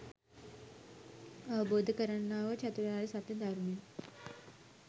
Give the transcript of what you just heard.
අවබෝධ කරන්නා වූ චතුරාර්ය සත්‍යය ධර්මය